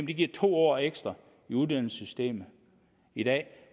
det giver to år ekstra i uddannelsessystemet i dag